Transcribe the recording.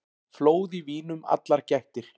Flóð í vínum allar gættir.